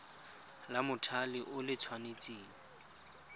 la mothale o le tshwanetse